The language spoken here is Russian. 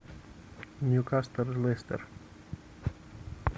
ньюкасл лестер